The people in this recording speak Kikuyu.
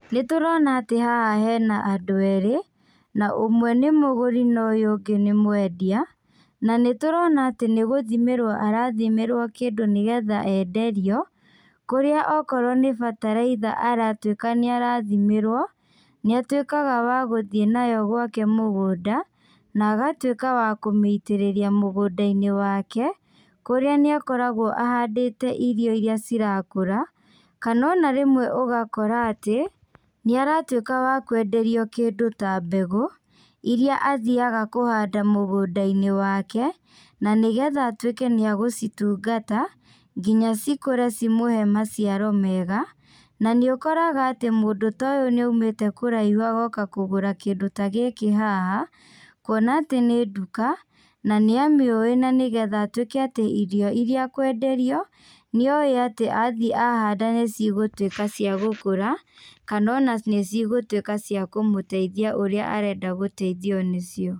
Nĩtũrona atĩ haha hena andũ erĩ, na ũmwe nĩ mũgũri na ũyũ ũngĩ nĩ mwendia, na nĩtũrona atĩ nĩgũthimĩrwo arathimĩrwo kĩndũ nĩgetha enderio, kũrĩa okorwo nĩ bataraitha aratuĩka nĩarathimĩrwo, nĩatuĩkaga wa gũthiĩ nayo gwake mũgũnda, na agatuĩka wa kũmĩitĩrĩria mũgũndainĩ wake, kũrĩa nĩakoragwo ahandĩte irio iria cirakũra, kana ona rĩmwe ũgakora atĩ, nĩaratuĩka wa kwenderio kĩndũ ta mbegũ, iria athiaga kũhanda mũgũndainĩ wake, na nĩgetha atuĩke nĩagũcitungata, nginya cikũre cimũhe maciaro mega, na nĩũkoraga atĩ mũndũ ta ũyũ nĩaumĩte kũraihu agoka kũgũra kĩndũ ta gĩkĩ haha, kuona atĩ nĩ nduka, na nĩamĩũĩ na nĩgetha atuĩke atĩ irio irĩa akwenderio, nĩ oĩ atĩ athiĩ ahanda nĩcigũtuĩka cia gũkũra, kana ona nĩcigũtuĩka cia kũmũteithia ũrĩa arenda gũteithio nĩcio.